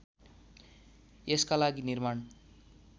यसका लागि निर्माण